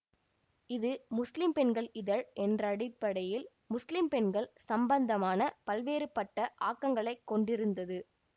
இது முஸ்லிம் பெண்கள் இதழ் என்றடிப்படையில் முஸ்லிம் பெண்கள் சம்பந்தமான பல்வேறுபட்ட ஆக்கங்களைக் கொண்டிருந்தது